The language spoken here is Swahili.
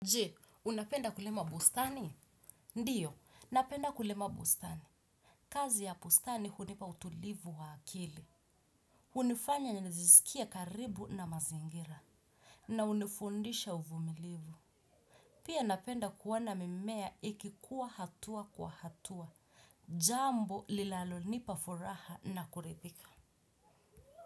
Je, unapenda kulema bostani? Ndiyo, napenda kulema bostani. Kazi ya bustani hunipa utulivu wa akili. Hunifanya ninizisikie karibu na mazingira. Na hunifundisha uvumilivu. Pia napenda kuona mimea ikikuwa hatua kwa hatua. Jambo lilalonipa furaha na kuridhika.